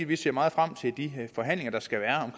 vi ser meget frem til de forhandlinger der skal være